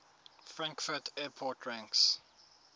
frankfurt airport ranks